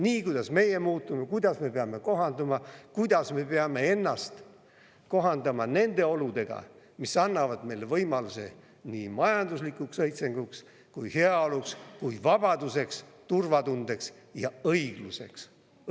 Nii, kuidas meie muutume, kuidas me peame kohanema, kuidas me peame ennast kohandama nende oludega, mis annavad meile võimaluse nii majanduslikuks õitsenguks kui heaoluks kui vabaduseks, turvatundeks ja õigluseks.